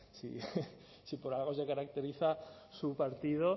si por algo se caracteriza su partido